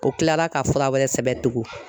O kila la ka fura wɛrɛ sɛbɛn tugun